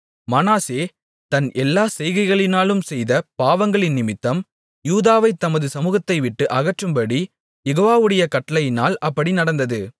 மனாசே தன் எல்லாச் செய்கைகளினாலும் செய்த பாவங்களினிமித்தம் யூதாவைத் தமது சமுகத்தைவிட்டு அகற்றும்படி யெகோவாவுடைய கட்டளையினால் அப்படி நடந்தது